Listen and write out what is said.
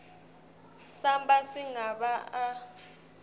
samba sigaba a